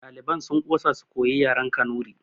Ɗaliban sun ƙosa su koyi yaren kanuri